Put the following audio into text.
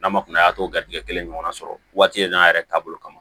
N'a ma kunaya a t'o garidi kelen ɲɔgɔn na sɔrɔ waati n'a yɛrɛ taabolo kama